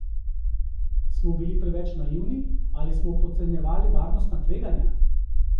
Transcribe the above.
Smo bili preveč naivni ali smo podcenjevali varnostna tveganja?